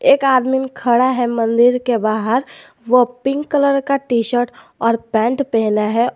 एक आदमी खड़ा है मंदिर के बाहर वो पिंक कलर का टीशर्ट और पेंट पहना है।